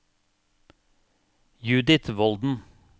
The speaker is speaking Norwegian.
Judith Volden